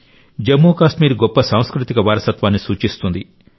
ఇది జమ్మూ కాశ్మీర్ గొప్ప సాంస్కృతిక వారసత్వాన్ని సూచిస్తుంది